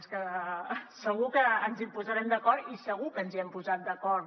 és que segur que ens posarem d’acord i segur que ens hem posat d’acord